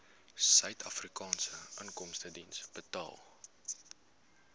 suidafrikaanse inkomstediens betaal